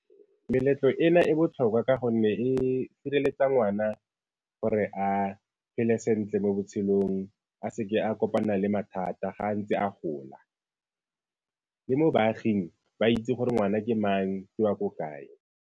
Meletlo ena e botlhokwa ka gonne e sireletsa ngwana gore a phele sentle mo botshelong a seke a kopana le mathata ga ntse a gola. Le mo baaging ba itse gore ngwana ke mang, ke wa ko kae.